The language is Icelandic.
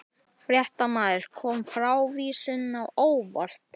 Fréttamaður: Kom frávísunin á óvart?